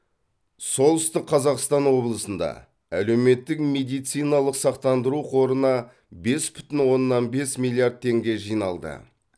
солтүстік қазақстан облысында әлеуметтік медициналық сақтандыру қорына бес бүтін оннан бес миллиард теңге жиналды